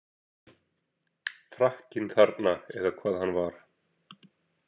Frakkinn þarna eða hvað hann var.